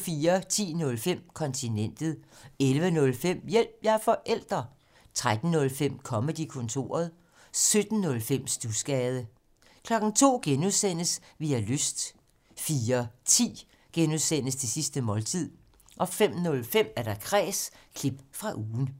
10:05: Kontinentet 11:05: Hjælp – jeg er forælder! 13:05: Comedy-kontoret 17:05: Studsgade 02:00: Vi har lyst (G) 04:10: Det sidste måltid (G) 05:05: Kræs – klip fra ugen